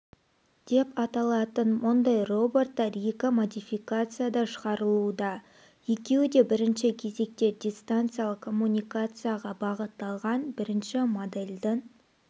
деп аталатын мұндай роботтар екі модификацияда шығарылады екеуі де бірінші кезекте дистанциялық коммуникацияға бағытталған бірінші модельдің